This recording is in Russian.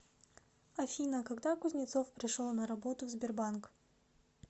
афина когда кузнецов пришел на работу в сбербанк